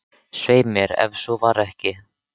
Svei mér, ef svo var ekki.